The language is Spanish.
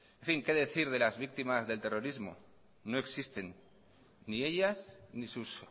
en fin qué decir de las víctimas del terrorismo no existen ni ellas ni sus